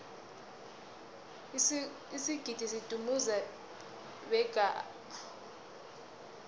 isigidi sidumuze beqa abeswa